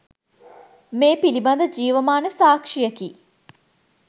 මේ පිළිබඳ ජීවමාන සාක්ෂියකි